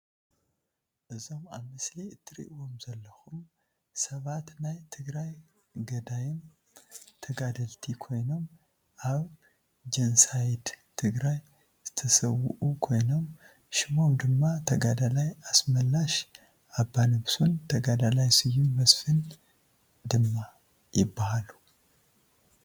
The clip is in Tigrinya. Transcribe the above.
እዞም ኣብ ምስሊ እትርእይዎም ዘለኩ ሰባት ናይ ትግራይ ገዳይም ተጋደልቲ ኮይኖም ኣብ ጆነሳይድ ትግራይ ዝተሰውኡ ኮይኖም ሽሞም ድማ ተጋዳላይ ኣስመላሽ ኣባነብሶን ተጋዳላይ ስዩም መስፍን ድማ ይባሃሉ።